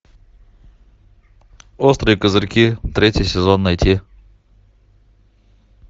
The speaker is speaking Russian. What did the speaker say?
острые козырьки третий сезон найти